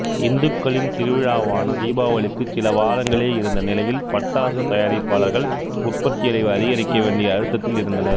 இந்துக்களின் திருவிழாவான தீபாவளிக்கு சில வாரங்களே இருந்த நிலையில் பட்டாசு தயாரிப்பாளர்கள் உற்பத்தியளவை அதிகரிக்க வேண்டிய அழுத்தத்தில் இருந்தனர்